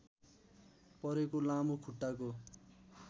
परेको लामो खुट्टाको